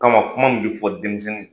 Kama kuma min be fɔ denmisɛnnin ye